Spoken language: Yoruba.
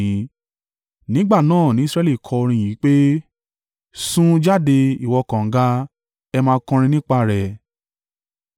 Nígbà náà ni Israẹli kọ orin yìí pé, “Sun jáde, ìwọ kànga! Ẹ máa kọrin nípa rẹ̀,